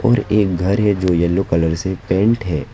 और एक घर है जो येलो कलर से पेंट है।